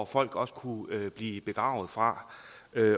folk også kunne blive begravet fra